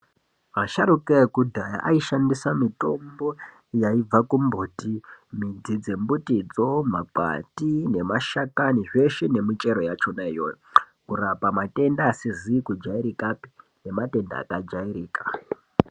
Asharukwa ekudhaya aishandisa mitombo yaibva kumbuti mudzi dzembutidzoo makwati nemashakani zveshe nemichero yachonayo kurapa matenda asizi kuajairikapi nematenda akajairika.